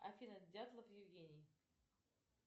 афина дятлов евгений